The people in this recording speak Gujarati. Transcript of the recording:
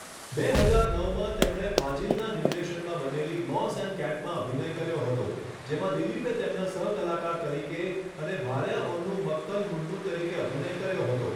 બે હજાર નવમાં, તેમણે ફાઝિલના નિર્દેશનમાં બનેલી મોસ એન્ડ કેટમાં અભિનય કર્યો હતો, જેમાં દિલીપે તેમના સહ કલાકાર તરીકે અને ભાર્યા ઓન્નુ મક્કલ મુન્નુ તરીકે અભિનય કર્યો હતો.